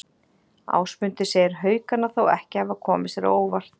Ásmundur segir Haukana þó ekki hafa komið sér á óvart.